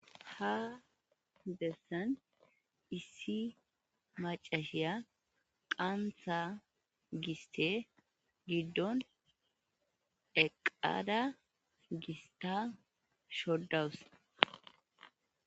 Hadessan issi macashiya qantha giste giddon eqada gista shodawus.